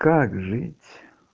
как жить